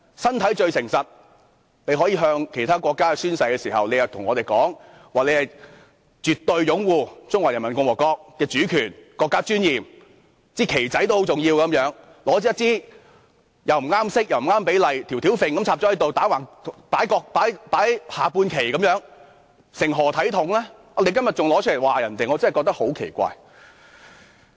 身體是最誠實的，他們可以向其他國家宣誓，但卻告訴我們絕對擁護中華人民共和國的主權和國家尊嚴，說一面小國旗也是很重要的，然後便拿着一面顏色不對、比例不對的國旗，"吊吊揈"地插在這裏，像下半旗般橫躺在此，究竟成何體統呢？